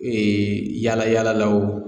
Ee yaala yaala la o.